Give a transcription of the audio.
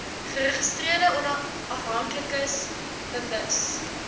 geregistreerde afhanklikes bewus